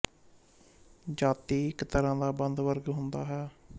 ਜਾਤੀ ਇੱਕ ਤਰ੍ਰਾ ਦਾ ਬੰਦ ਵਰਗ ਹੁੰਦਾ ਹੈ